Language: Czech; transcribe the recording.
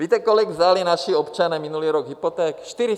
Víte, kolik vzali naši občané minulý rok hypoték?